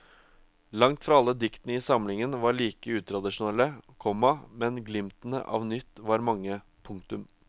Langt fra alle diktene i samlingen var like utradisjonelle, komma men glimtene av nytt var mange. punktum